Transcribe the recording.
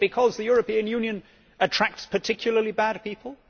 Is it because the European Union attracts particularly bad people?